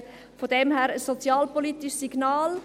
So gesehen ist es ein sozialpolitisches Signal.